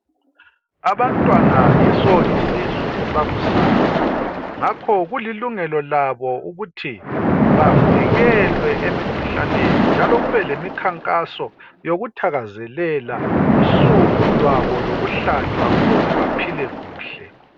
Abantwana yiso isizwe sakusasa ngakho kulilungelo labo ukuthi bavikelwe emikhuhlaneni njalo kube lemikhankaso yokuthakazelela usuku lwabo lokuhlatshwa ujuze baphile kuhle.